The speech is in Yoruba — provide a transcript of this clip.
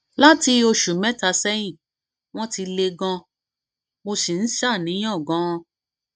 láti oṣù mẹta sẹyìn wọn ti le ganan mo sì ń ṣàníyàn ganan